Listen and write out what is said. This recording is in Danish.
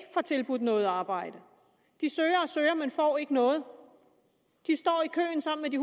får tilbudt noget arbejde de søger og søger men får ikke noget de står i køen sammen med de